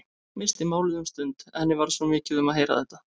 Missti málið um stund, henni varð svo mikið um að heyra þetta.